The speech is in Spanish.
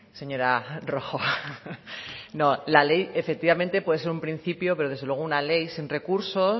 señora rojo no la ley efectivamente puede ser un principio pero desde luego una ley sin recursos